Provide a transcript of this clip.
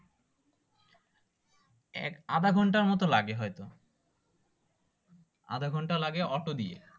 আধা ঘন্টার মতো লাগে আধা ঘন্টা লাগে অটো দিয়ে